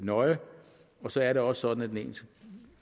nøje så er det også sådan at den